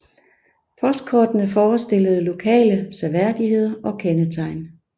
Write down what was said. Postkortene forestillede lokale seværdigheder og kendetegn